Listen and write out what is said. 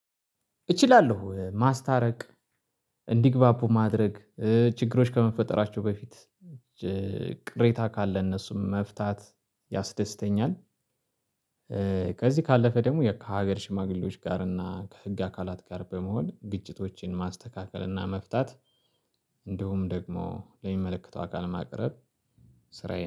እችላለሁ ማስታረቅ እንዲግባቡ ማድረግ እ ችግሮች ከመፈጠራቸው በፊት እ ቅሬታ ካለ እነሱም መፍታት ያስደስተኛል። ከዚህ ካለፈ ደግሞ ከሀገር ሽማግሌዎች ጋር እና ከህግ አካላት ጋር በመሆን ግጭቶችን ማስተካከል እና መፍታት እንዲሁም ደግሞ ለሚመለከተው አካል ማቅረብ። ስራዬን